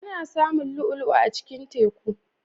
Ana samun lu'ulu'a a cikin teku.